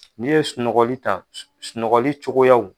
N'i ye sunɔgɔli ta, sunɔgɔli cogoyaw.